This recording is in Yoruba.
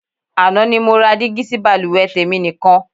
Àná ni mo ra dígí sí baluwe tèmi nìkan.